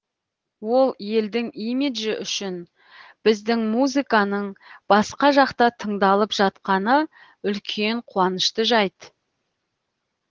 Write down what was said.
ол елдің имиджі үшін біздің музыканың басқа жақта тыңдалып жатқаны үлкен қуанышты жайт